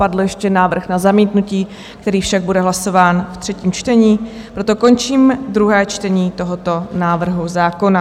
Padl ještě návrh na zamítnutí, který však bude hlasován v třetím čtení, proto končím druhé čtení tohoto návrhu zákona.